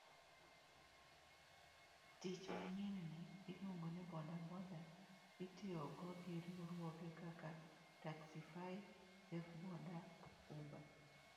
Tij manyien ni, iluongo ni bodaboda, itiyogo gi riwruoge kaka Taxify, Safeboda, Uber.